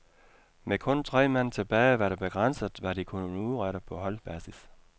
Med kun tre mand tilbage var det begrænset, hvad de kunne udrette på holdbasis.